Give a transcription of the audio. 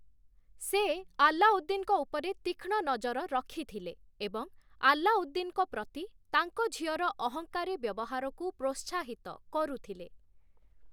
ସେ ଆଲ୍ଲାଉଦ୍ଦିନ୍‌ଙ୍କ ଉପରେ ତୀକ୍ଷ୍ଣ ନଜର ରଖିଥିଲେ ଏବଂ ଆଲ୍ଲାଉଦ୍ଦିନ୍‌ଙ୍କ ପ୍ରତି ତାଙ୍କ ଝିଅର ଅହଂକାରୀ ବ୍ୟବହାରକୁ ପ୍ରୋତ୍ସାହିତ କରୁଥିଲେ ।